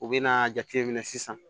U bɛ n'a jateminɛ sisan